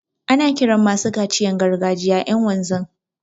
Ana kiran masu kaciyan gargajiya ƴan wanzan.